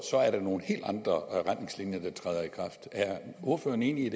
er nogle helt andre retningslinjer der træder i kraft er ordføreren enig